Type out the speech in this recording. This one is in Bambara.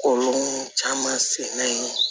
Kolon caman sen na yen